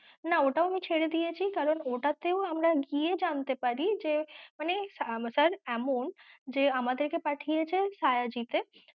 না ওটাও আমি ছেড়েদিয়েছি কারণ ওটাতেও আমরা গিয়ে জানতে পারি যে মানে sir এমন যে আমাদের কে পাঠিয়েছে শায়াজি তে